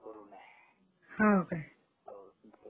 हो काय?